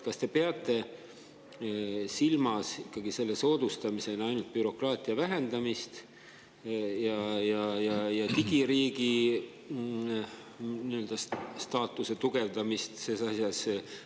Kas te peate ikkagi selle soodustamisena silmas ainult bürokraatia vähendamist ja digiriigi nii-öelda staatuse tugevdamist selles asjas?